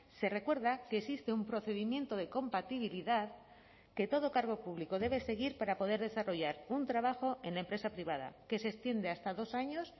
se recuerda que existe un procedimiento de compatibilidad que todo cargo público debe seguir para poder desarrollar un trabajo en la empresa privada que se extiende hasta dos años